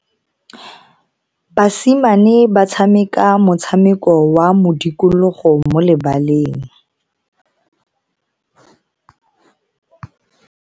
Basimane ba tshameka motshameko wa modikologo mo lebaleng.